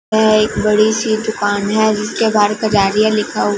यह एक बड़ी सी दुकान है जिसके बाहर पंजाडीया लिखा हु--